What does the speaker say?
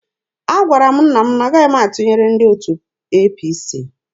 Agwara m nna m na-agaghị m atụnyere ndị otu APC.